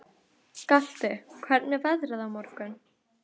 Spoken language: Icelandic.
Galti, hvernig er veðrið á morgun?